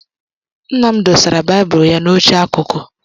Nna m dosara baịbụl ya n'oche akụkụ.